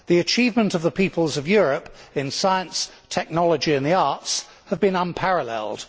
The achievement of the peoples of Europe in science, technology and the arts have been unparalleled.